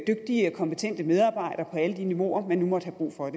dygtige og kompetente medarbejdere på alle de niveauer man nu måtte have brug for